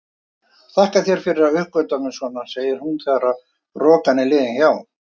Þakka þér fyrir að uppörva mig svona, segir hún þegar rokan er liðin hjá.